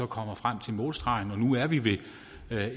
kommer frem til målstregen og nu er vi ved